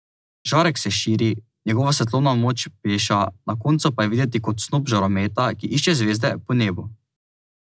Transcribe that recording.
Žarek se širi, njegova svetlobna moč peša, na koncu pa je videti kot snop žarometa, ki išče zvezde po nebu.